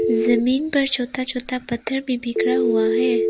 जमीन पर छोता छोता पत्थर भी बिखरा हुआ है।